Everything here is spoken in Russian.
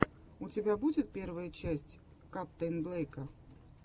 у тебя будет первая часть каптэйнблека